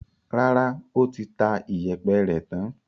Rárá, ó ti ta ìyẹ̀pẹ̀ rẹ̀ tán.